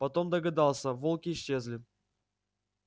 потом догадался волки исчезли